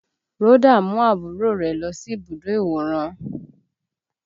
Rhoda mú àbúrò rẹ̀ lọ sí ibùdó ìwòran